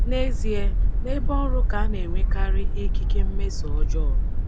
Nezie, nebe ọrụ ka a na-enwekarị ikike mmeso ọjọọ.